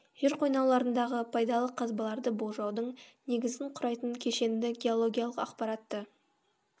жер қойнауларындағы пайдалы қазбаларды болжаудың негізін құрайтын кешенді геологиялық ақпаратты